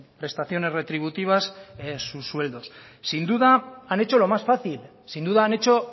prestaciones retributivas en sus sueldos sin duda han hecho lo más fácil sin duda han hecho